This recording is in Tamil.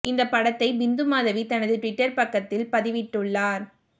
இந்த படத்தை பிந்து மாதவி தனது ட்விட்டர் பக்கத்தில பதிவிட்டுள்ளார்